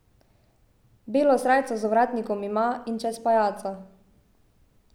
Belo srajco z ovratnikom ima in čez pajaca.